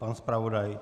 Pan zpravodaj?